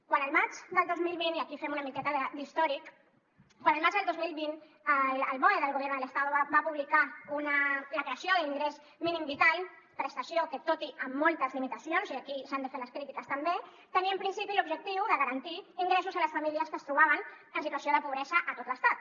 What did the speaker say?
quan el maig del dos mil vint i aquí fem una miqueta d’històric el boe del gobierno del estado va publicar la creació de l’ingrés mínim vital prestació que tot i amb moltes limitacions i aquí s’han de fer les crítiques també tenia en principi l’objectiu de garantir ingressos a les famílies que es trobaven en situació de pobresa a tot l’estat